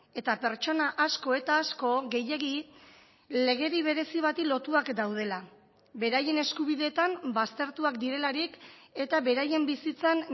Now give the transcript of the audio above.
eta pertsona asko eta asko gehiegi legedi berezi bati lotuak daudela beraien eskubideetan baztertuak direlarik eta beraien bizitzan